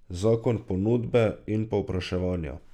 Zakon ponudbe in povpraševanja!